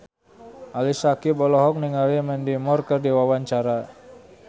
Ali Syakieb olohok ningali Mandy Moore keur diwawancara